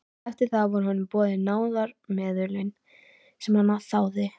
Eftir það voru honum boðin náðarmeðulin sem hann þáði.